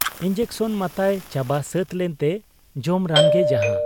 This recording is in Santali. ᱤᱧᱡᱮᱠᱥᱚᱱ ᱢᱟᱛᱟᱭ ᱪᱟᱵᱟ ᱥᱟᱹᱛ ᱞᱮᱱᱛᱮ ᱡᱚᱢ ᱨᱟᱱᱜᱮ ᱡᱟᱦᱟᱸ ᱾